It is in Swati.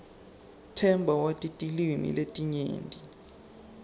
themba wati tilwimi letinyenti